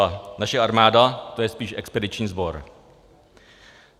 A naše armáda, to je spíše expediční sbor.